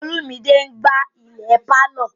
Olumide n gbá ilẹ̀ pálọ̀